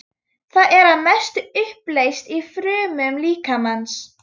Það er að mestu uppleyst í frumum líkamans.